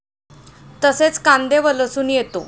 तसेच, कांदे व लसूण येतो.